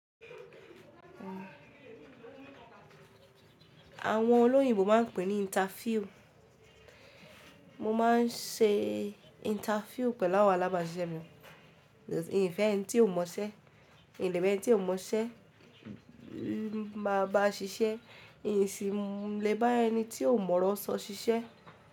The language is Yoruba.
Àwọn olóyìnbo máà ń pè ní interview. Mo máà ń ṣe interview pẹ̀lú àwọn alábàáṣiṣẹ́ mi. Yin fẹ́ ẹni tí ó mọṣẹ́, yin lè bá ẹni tí ó mọṣẹ́ bá ṣiṣẹ́, yin sì lè bá ẹni tí ó mọ ọ̀rọ̀ sọ ṣiṣẹ́.